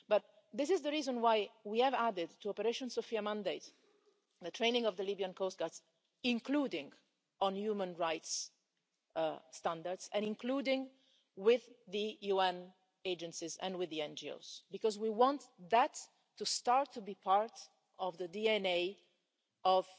But this is the reason why we have added to the mandate of Operation Sophia the training of the Libyan coast guards, including on human rights standards and including with the UN agencies and with the NGOs, because we want that to start to be part of the DNA